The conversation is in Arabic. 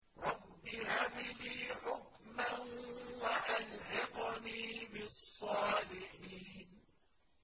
رَبِّ هَبْ لِي حُكْمًا وَأَلْحِقْنِي بِالصَّالِحِينَ